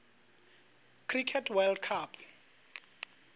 cricket world cup